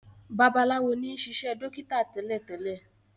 Babalawo ní sisé dókítà télètélè.